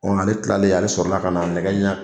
Ale tilalen ale sɔrɔla ka na nɛgɛ ɲɛ